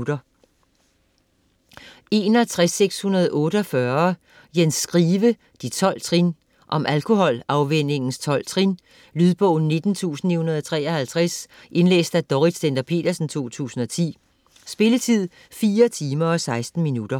61.648 Skive, Jens: De 12 trin Om alkoholafvænningens 12 trin. Lydbog 19953 Indlæst af Dorrit Stender-Petersen, 2010. Spilletid: 4 timer, 16 minutter.